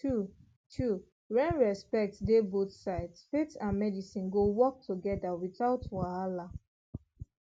true true when respect dey both sides faith and medicine go work together without wahala